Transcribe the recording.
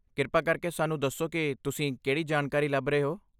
ਕਿਰਪਾ ਕਰਕੇ ਸਾਨੂੰ ਦੱਸੋ ਕਿ ਤੁਸੀਂ ਕਿਹੜੀ ਜਾਣਕਾਰੀ ਲੱਭ ਰਹੇ ਹੋ।